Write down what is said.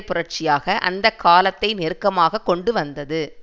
புரட்சியாக அந்த காலத்தை நெருக்கமாக கொண்டு வந்தது